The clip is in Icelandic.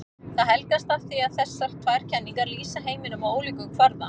Það helgast af því að þessar tvær kenningar lýsa heiminum á ólíkum kvarða.